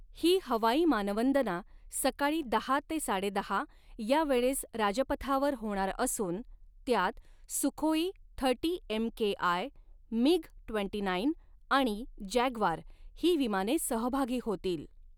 ही हवाई मानवंदना सकाळी दहा ते साडेदहा यावेळेस राजपथावर होणार असून त्यात Sukhoi thirty M K I, MiG twenty nine, आणि जॅग्वार ही विमाने सहभागी होतील.